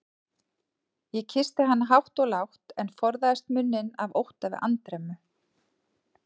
Ég kyssti hana hátt og lágt, en forðaðist munninn af ótta við andremmu.